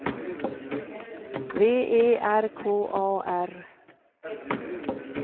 V E R K A R